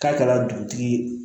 K'a kɛra dugutigi ye